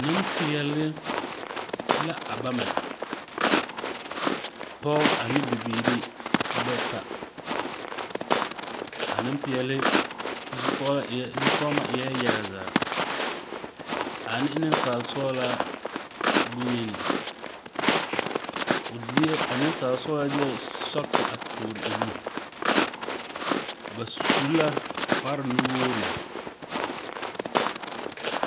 Nempeɛle la a bama. Pɔge ane bibiiri bata. A Nempeɛle zu kɔgelɔ zukɔgemo eɛɛ yaga zaa ane nensaale sɔgelaa bonyeni. O deɛ a nensaale sɔgelaa deɛ sɔgese a toore o nu. Ba su kparre nu-wogiri.